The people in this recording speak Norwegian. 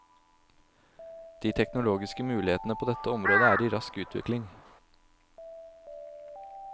De teknologiske mulighetene på dette området er i rask utvikling.